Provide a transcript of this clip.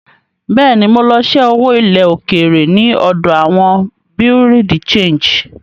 Bẹ́ẹ̀ ni, mo lọ ṣẹ́ owó ilẹ̀ òkèèrè ní ọ̀dọ̀ àwọn Bureau de Change.